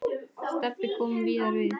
Stebbi kom víðar við.